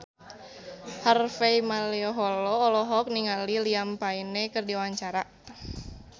Harvey Malaiholo olohok ningali Liam Payne keur diwawancara